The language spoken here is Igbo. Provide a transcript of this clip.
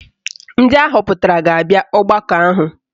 Ndị ahọpụtara ga-abịa ọgbakọ ahụ